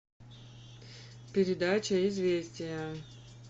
передача известия